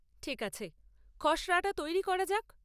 ঠিক আছে, খসড়াটা তৈরি করা যাক।